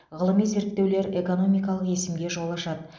ғылыми зерттеулер экономикалық есімге жол ашады